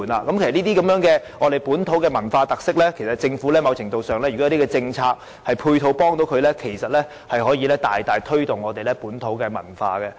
就這些本土文化特色的體驗，政府如可透過政策和配套提供某程度的協助，便可大大推動本土文化。